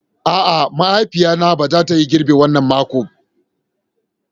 A'a, mahaifiya na ba za ta Yi girbi wanna mako.